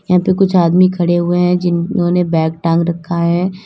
यहां पे कुछ आदमी खड़े हुए हैं जिन्होंने बैग टांग रखा है।